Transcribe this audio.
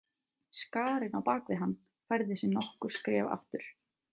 Skarinn á bak við hann færði sig nokkur skref aftur.